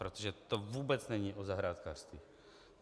Protože to vůbec není o zahrádkářství.